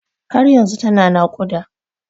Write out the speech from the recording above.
Har yanzu tana naƙuda.